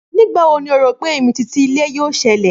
Nígbà wo ni o rò pé ìmìtìtì-ilẹ̀ yóò ṣẹlẹ̀?